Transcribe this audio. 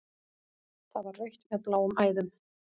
Það var rautt með bláum æðum.